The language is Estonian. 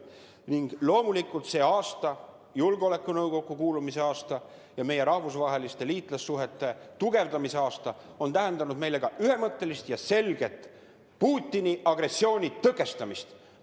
Ning loomulikult, see aasta, julgeolekunõukokku kuulumise aasta ja meie rahvusvaheliste liitlassuhete tugevdamise aasta on tähendanud meile ka ühemõttelist ja selget Putini agressiooni tõkestamist.